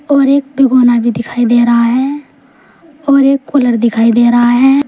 और एक भगोना भी दिखाई दे रहा है और एक कूलर दिखाई दे रहा है।